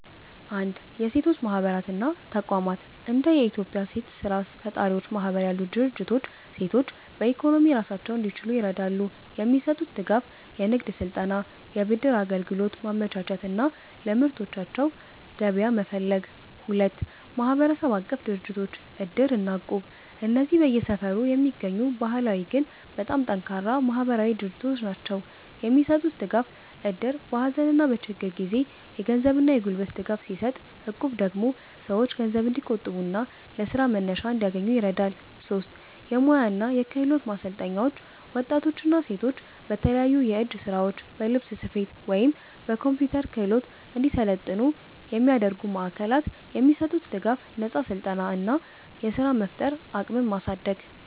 1. የሴቶች ማህበራት እና ተቋማት እንደ የኢትዮጵያ ሴት ስራ ፈጣሪዎች ማህበር ያሉ ድርጅቶች ሴቶች በኢኮኖሚ ራሳቸውን እንዲችሉ ይረዳሉ። የሚሰጡት ድጋፍ፦ የንግድ ስልጠና፣ የብድር አገልግሎት ማመቻቸት እና ለምርቶቻቸው ገበያ መፈለግ። 2. ማህበረሰብ-አቀፍ ድርጅቶች (እድር እና እቁብ) እነዚህ በየሰፈሩ የሚገኙ ባህላዊ ግን በጣም ጠንካራ ማህበራዊ ድርጅቶች ናቸው። የሚሰጡት ድጋፍ፦ እድር በሀዘንና በችግር ጊዜ የገንዘብና የጉልበት ድጋፍ ሲሰጥ፣ እቁብ ደግሞ ሰዎች ገንዘብ እንዲቆጥቡና ለስራ መነሻ እንዲያገኙ ይረዳል። 3. የሙያ እና የክህሎት ማሰልጠኛዎች ወጣቶችና ሴቶች በተለያዩ የእጅ ስራዎች፣ በልብስ ስፌት ወይም በኮምፒውተር ክህሎት እንዲሰለጥኑ የሚያደርጉ ማዕከላት። የሚሰጡት ድጋፍ፦ ነፃ ስልጠና እና ስራ የመፍጠር አቅምን ማሳደግ።